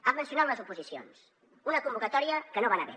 ha mencionat les oposicions una convocatòria que no va anar bé